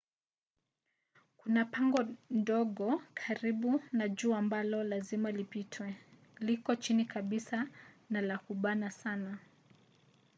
kuna pango ndogo karibu na juu ambalo lazima lipitwe liko chini kabisa na la kubana sana